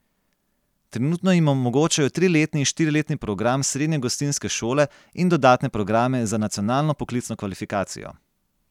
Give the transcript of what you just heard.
Trenutno jim omogočajo triletni in štiriletni program srednje gostinske šole in dodatne programe za nacionalno poklicno kvalifikacijo.